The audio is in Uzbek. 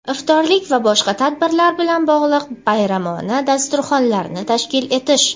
iftorlik va boshqa tadbirlar bilan bog‘liq bayramona dasturxonlar)ni tashkil etish;.